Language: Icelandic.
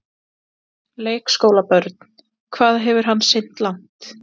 Leikskólabörn: Hvað hefur hann synt langt?